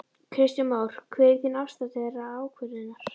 Kristján Már: Hver er þín afstaða til þeirrar ákvörðunar?